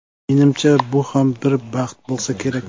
Menimcha, bu ham bir baxt bo‘lsa kerak.